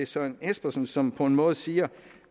søren espersen som på en måde siger